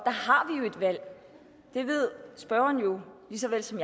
valg der ved spørgeren lige så vel som